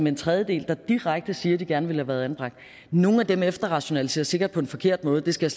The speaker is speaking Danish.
en tredjedel der direkte siger at de gerne ville have været anbragt nogle af dem efterrationaliserer sikkert på en forkert måde det skal